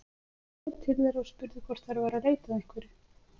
Ég fór til þeirra og spurði hvort þær væru að leita að einhverju.